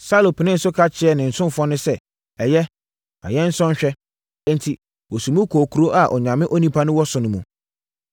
Saulo penee so ka kyerɛɛ ne ɔsomfoɔ no sɛ, “Ɛyɛ, ma yɛnsɔ nhwɛ!” Enti, wɔsii mu kɔɔ kuro a Onyame onipa wɔ mu no so.